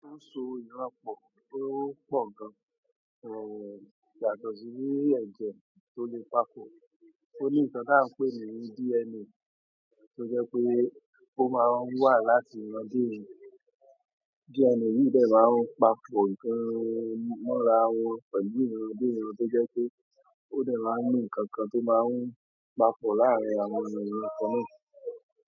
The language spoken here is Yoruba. Ó so iran pọ̀ tó pọ̀ gan-an, ẹ̀, yàtọ̀ sí yíyẹ nǹjẹ́ tó lè pa fò. Ó ní nǹkan tí à ń pè ní DNA, tó jẹ́ pé ó máa wà láti iran dé iran. DNA yìí dẹ máa ń pa fò nǹkan mọ́ra wọn pẹ̀lú iran dé iran, tó jẹ́ pé ó dẹ máa ń ní nǹkan kan tó máa ń pa pò láàárín àwọn ènìyàn kan náà.